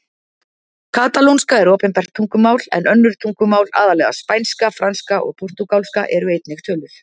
Katalónska er opinbert tungumál en önnur tungumál, aðallega spænska, franska og portúgalska, eru einnig töluð.